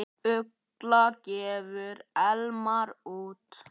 Ugla gefur Elmar út.